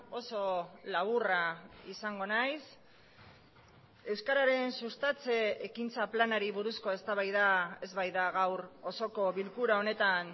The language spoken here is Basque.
oso laburra izango nahiz euskararen sustatze ekintza planari buruzko eztabaida ez baita gaur osoko bilkura honetan